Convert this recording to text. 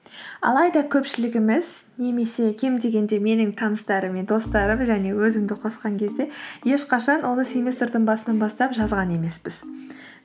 алайда көпшілігіміз немесе кем дегенде менің таныстарым мен достарым және өзімді қосқан кезде ешқашан оны семестрдің басынан бастап жазған емеспіз